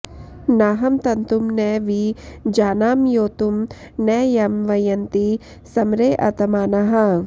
नाहं तन्तुं॒ न वि जा॑ना॒म्योतुं॒ न यं वय॑न्ति सम॒रेऽत॑मानाः